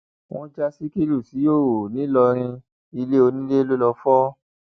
wọn já síkírù síhòòhò ńìlọrin ilẹ onílẹ ló lọọ fọ